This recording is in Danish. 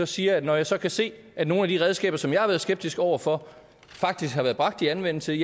siger at når jeg så kan se at nogle af de redskaber som jeg har været skeptisk over for faktisk har været bragt i anvendelse